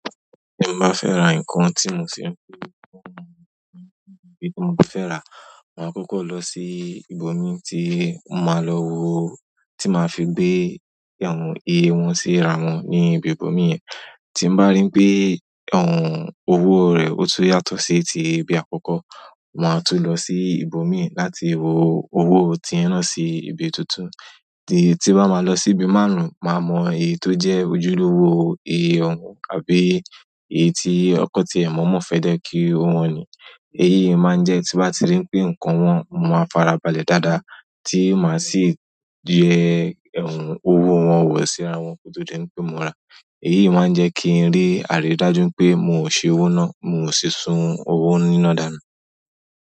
Tí mo bá fẹ́ ra nǹkan tí mo sì ń fẹ́ rí ọ̀wọ́n níbi tí mo fẹ́ ràá, màá kọ́kọ́ lọ sí ibòmí tí màá lọ wóo, tí màá fi gbé àwọn ìye wọn sí ra wọn ní ibi ibòmí yẹn. Tí n bá rí pé hmm owó rẹ̀ ó tun yàtọ̀ sí ti ibi àkọ́kọ́, màá tún lọ sí ibòmí láti wo owó tí yẹn náà sí ibi tuntun. Tí n bá máa lọ sí ibi márùn-ún, màá mọ èyí tó jẹ́ ojúlówó eyì ọ̀wọ́n àbí èyí tí won kọ̀ tí ẹ̀ mọ mọ́ fẹ́ jẹ́ kí o wọn ni. Èyí yìí máa ń jẹ́ tí n bá ti rí pé nǹkan wọn mọ ma fara balẹ̀ dáadáa tí màá sì yẹ owó wọn wọ̀ síra wọn kí ó tó di n pé mo rà. Èyí yìí máa ń jẹ́ kí n rí àrídájú pé mò ń ṣe owó náà, mi ò ṣíṣún owó nínú ìdánù.